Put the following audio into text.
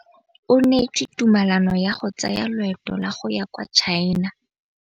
O neetswe tumalanô ya go tsaya loetô la go ya kwa China.